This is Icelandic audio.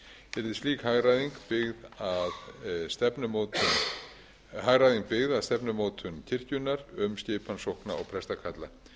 um ákveðinn tíma yrði slík hagræðing byggð að stefnumótun kirkjunnar um skipan sókna og prestakalla